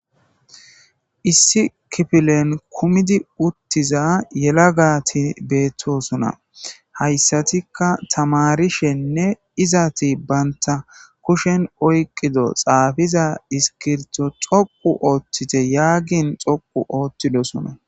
Issi kipilen kumidi uttiza yela gaati beettosona hayssatikka tamarishenne izati banta kushen oyqido xaafiza iskirto xoqu ooththite yaagin xoqu oothtidosona.